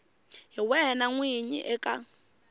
hi wena n winyi eka